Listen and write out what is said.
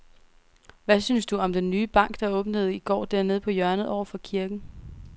Hvad synes du om den nye bank, der åbnede i går dernede på hjørnet over for kirken?